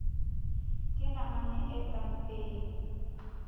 ke namane e ka mpeng